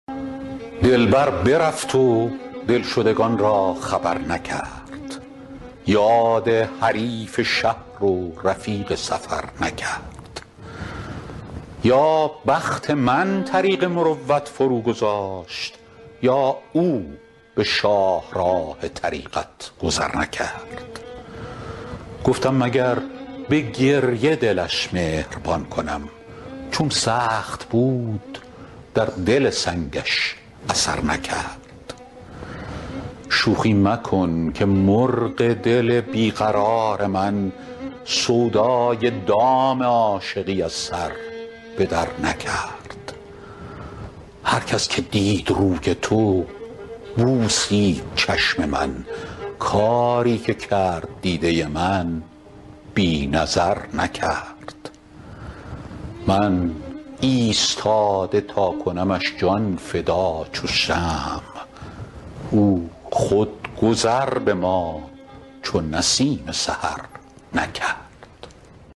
دلبر برفت و دلشدگان را خبر نکرد یاد حریف شهر و رفیق سفر نکرد یا بخت من طریق مروت فروگذاشت یا او به شاهراه طریقت گذر نکرد گفتم مگر به گریه دلش مهربان کنم چون سخت بود در دل سنگش اثر نکرد شوخی مکن که مرغ دل بی قرار من سودای دام عاشقی از سر به درنکرد هر کس که دید روی تو بوسید چشم من کاری که کرد دیده من بی نظر نکرد من ایستاده تا کنمش جان فدا چو شمع او خود گذر به ما چو نسیم سحر نکرد